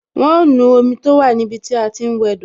Wọn ó nu omi tó wà ní ibi tí a ti ń wẹ do